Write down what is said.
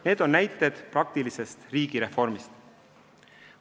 Need on näited praktilisest riigireformist.